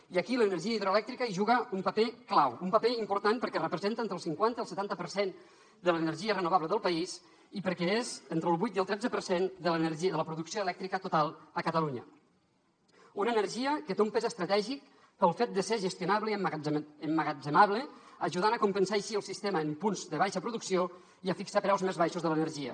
i aquí l’energia hidroelèctrica hi juga un paper clau un paper important perquè representa entre el cinquanta i el setanta per cent de l’energia renovable del país i perquè és entre el vuit i el tretze per cent de la producció elèctrica total a catalunya una energia que té un pes estratègic pel fet de ser gestionable i emmagatzemable ajudant a compensar així el sistema en punts de baixa producció i a fixar preus més baixos de l’energia